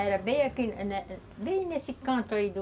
Era bem aqui, bem nesse canto aí do...